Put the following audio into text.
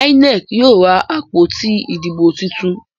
INEC yíò rá àpótí Ìdìbò títún.